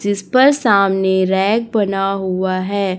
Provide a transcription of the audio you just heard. जिस पर सामने रैक बना हुआ है।